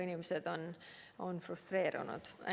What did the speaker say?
Inimesed on frustreerunud.